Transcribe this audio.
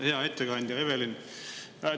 Hea ettekandja Evelin!